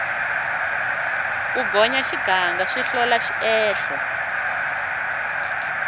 ku gonya xiganga swi hlola xiehlo